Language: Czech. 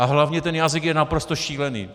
A hlavně ten jazyk je naprosto šílený.